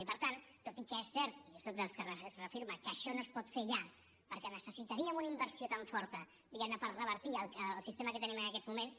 i per tant tot i que és cert i jo soc dels que es reafirma que això no es pot fer ja perquè necessitaríem una inversió tan forta diguem ne per revertir el sistema que tenim en aquests moments